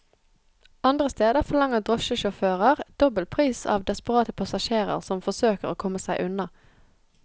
Andre steder forlanger drosjesjåfører dobbel pris av desperate passasjerer som forsøker å komme seg unna.